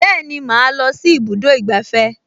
Bẹ́ẹ̀ni, màá lọ sí ibùdó ìgbafẹ́